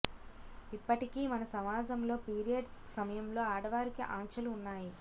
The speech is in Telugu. ఇప్పటికీ మన సమాజంలో పీరియడ్స్ సమయంలో ఆడవారికి ఆంక్షలు ఉన్నాయి